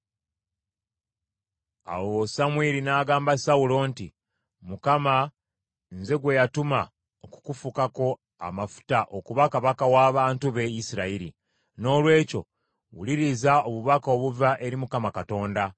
Awo Samwiri n’agamba Sawulo nti, “ Mukama nze gwe yatuma okukufukako amafuta okuba kabaka w’abantu be Isirayiri, noolwekyo wuliriza obubaka obuva eri Mukama Katonda.